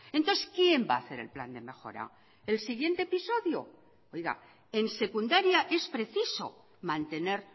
entonces quién va a hacer el plan de mejora el siguiente episodio oiga en secundaria es preciso mantener